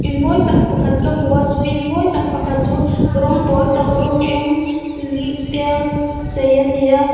in mawi tak pakhat ka hmu a chu in mawi tak pakhat chu rawng pawl tak rawng eng te a chei ani a.